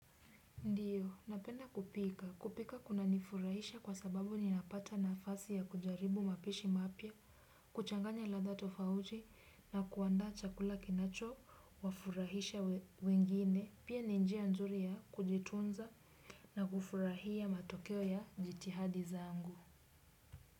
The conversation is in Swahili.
Napenda kupika. Kupika kunanifurahisha kwasababu ninapata nafasi ya kujaribu mapishi mapya, kuchanganya ladha tofauti na kuandaa chakula kinachowafurahisha wengine. Pia ni njia nzuri ya kujitunza na kufurahia matokeo ya jitihada zangu.